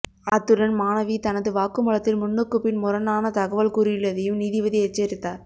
அத்துடன் மாணவி தனது வாக்குமூலத்தில் முன்னுக்குப்பின் முரணான தகவல் கூறியுள்ளதையும் நீதிபதி எச்சரித்தார்